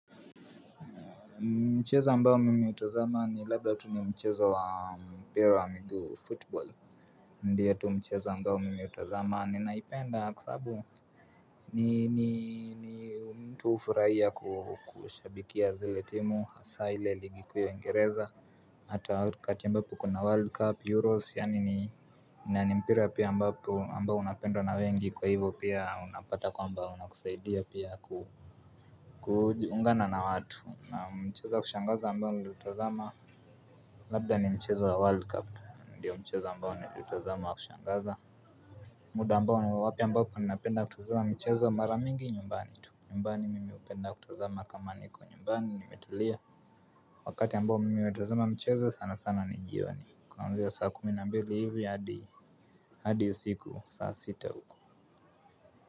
Mchezo ambao mimi hutazama ni labda tu ni mchezo wa mpira wa miguu.'Football'. Ndiyo tu mchezo ambao mimi hutazama, ninaipenda kwa sababu ni mtu hufurahia kushabikia zile timu hasa ile ligi kuu ya Uingereza. Hata wakati ambapo kuna world cup, euros, yaani ni na ni mpira pia ambao unapendwa na wengi kwa hivyo pia unapata kwamba unakusaidia pia ku kuungana na watu na mchezo wa kushangaza ambao niliutazama, labda ni mchezo wa world cup ndio mchezo ambao niliutazama wa kushangaza. Muda ambao ni wa wapi ambapo napenda kutazama mchezo mara mingi nyumbani tu. Nyumbani mimi hupenda kutazama kama niko nyumbani nimetulia. Wakati ambao mimi hutazama mcheza sana sana ni jioni kuannzia saa kumi na mbili hivi hadi hadi usiku saa sita huko.